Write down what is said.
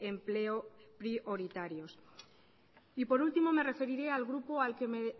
empleo prioritarios y por último me referiré al grupo al que me